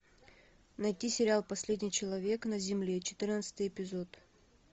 найти сериал последний человек на земле четырнадцатый эпизод